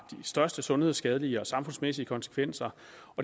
største sundhedsskadelige og samfundsmæssige konsekvenser